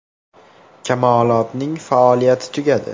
“Kamolot”ning faoliyati tugatiladi.